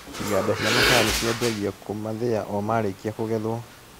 Iganda cia macani cianjagia kũmathĩa o marĩkia kũgetwo.